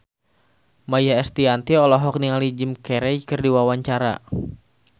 Maia Estianty olohok ningali Jim Carey keur diwawancara